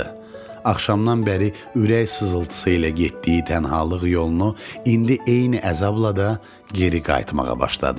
Axşamdan bəri ürək sızıltısı ilə getdiyi tənhalıq yolunu indi eyni əzabla da geri qayıtmağa başladı.